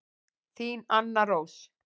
Þín Anna Rós.